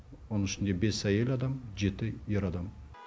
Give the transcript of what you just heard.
оның ішінде бес әйел адам жеті ер адам